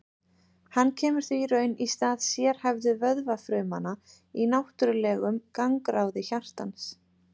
hann kemur því í raun í stað sérhæfðu vöðvafrumanna í náttúrlegum gangráði hjartans